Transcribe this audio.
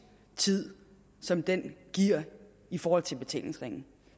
tid som det giver i forhold til betalingsringen